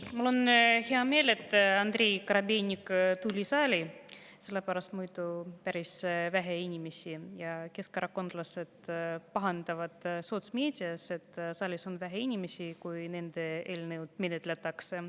Mul on hea meel, et Andrei Korobeinik tuli saali, sest muidu oleks siin päris vähe inimesi ja siis keskerakondlased pahandaksid sotsmeedias, et saalis on vähe inimesi, kui nende eelnõu menetletakse.